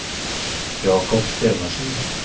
Jacob Stenersen